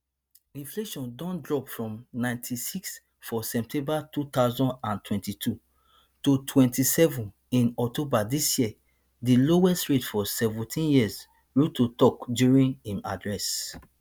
inflation don drop from ninety-six for september two thousand and twenty-two to twenty-seven in october dis year di lowest rate for seventeen years ruto tok during im address